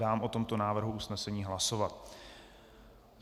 Dám o tomto návrhu usnesení hlasovat.